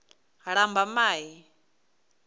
lambamai